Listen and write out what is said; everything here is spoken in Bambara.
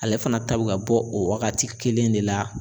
Ale fana ta bɛ ka bɔ o waagati kelen de la.